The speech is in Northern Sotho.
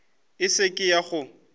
e se ke ya go